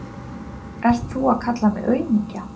Ert þú að kalla mig aumingja?